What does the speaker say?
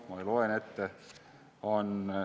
Ma loen ette: "...